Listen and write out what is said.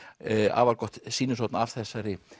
afar gott sýnishorn af þessari